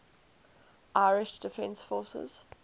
irish defence forces